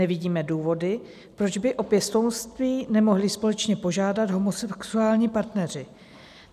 Nevidíme důvody, proč by o pěstounství nemohli společně požádat homosexuální partneři.